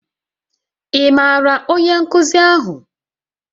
Ị maara onye nkuzi ahụ?